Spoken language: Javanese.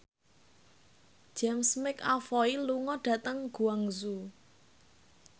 James McAvoy lunga dhateng Guangzhou